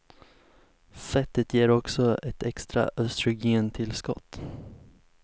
Fettet ger också ett extra östrogentillskott.